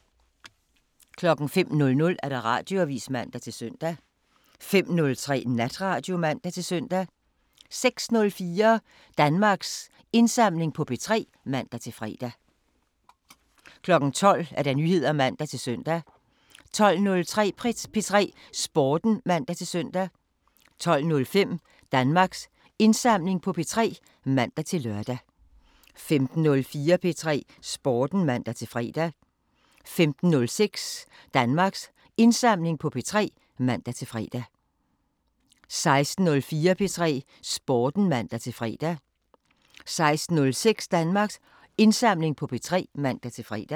05:00: Radioavisen (man-søn) 05:03: Natradio (man-søn) 06:04: Danmarks Indsamling på P3 (man-fre) 12:00: Nyheder (man-søn) 12:03: P3 Sporten (man-søn) 12:05: Danmarks Indsamling på P3 (man-lør) 15:04: P3 Sporten (man-fre) 15:06: Danmarks Indsamling på P3 (man-fre) 16:04: P3 Sporten (man-fre) 16:06: Danmarks Indsamling på P3 (man-fre)